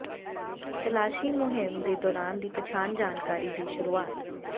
ਤਲਾਸ਼ੀ ਮੁਹਿੰਮ ਦੇ ਦੌਰਾਨ ਦੀ ਪਛਾਣ ਜਾਣਕਾਰੀ ਦੀ ਸ਼ੁਰੂਆਤ